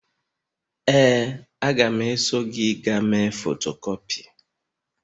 Ee, a ga m eso gị gaa mee fotokupi